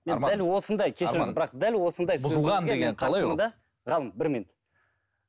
ғалым бір минут